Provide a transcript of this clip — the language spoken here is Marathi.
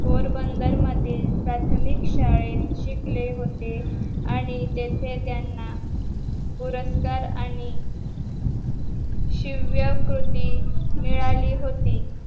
पोरबंदर मधील प्राथमिक शाळेत शिकले होते आणि तिथे त्यांना पुरस्कार आणि शिव्या कृती मिळाली होती